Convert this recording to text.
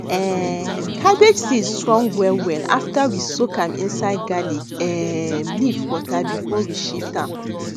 um cabbage seed strong wellwell after we soak am inside garlic um leaf water before we shift am